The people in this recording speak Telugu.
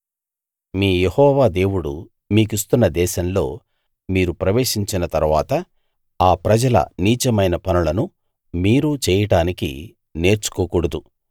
మీ యెహోవా దేవుడు మీకిస్తున్న దేశంలో మీరు ప్రవేశించిన తరువాత ఆ ప్రజల నీచమైన పనులను మీరు చేయడానికి నేర్చుకోకూడదు